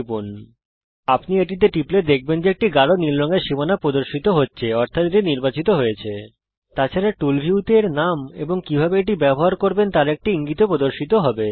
লক্ষ্য করুন যখন আপনি এটিতে টিপবেন তখন একটি গাঢ় নীল রঙের সীমানা আইটেমটির চারপাশে প্রদর্শিত হবে এর মানে এটি নির্বাচিত হয়েছে তাছাড়া টুল ভিউতে এর নাম এবং কিভাবে এটা ব্যবহার করবেন তার একটি ইঙ্গিত ও প্রদর্শিত হবে